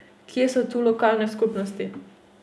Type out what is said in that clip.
Kje so tu lokalne skupnosti?